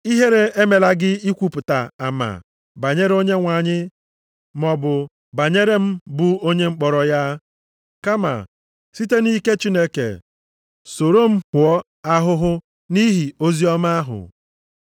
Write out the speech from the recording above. Ihere emela gị ikwupụta ama banyere Onyenwe anyị maọbụ banyere m bụ onye mkpọrọ ya. Kama, site nʼike Chineke, soro m hụọ ahụhụ nʼihi oziọma ahụ.